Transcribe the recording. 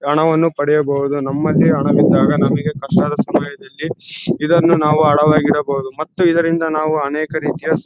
ಹಣವನ್ನು ಪಡಿಯಬಹುದು ನಮ್ಮಲೆ ಹಣ ಕೊಟ್ಟಾಗ ನಮಗೆ ಕಷ್ಟದ ಸಮಯದಲ್ಲಿ ಇದನ್ನು ನಾವು ಇಡಬಹುದು ಮತ್ತು ಇದರಿಂದ ನಾವು ಅನೇಕ ರೀತಿಯ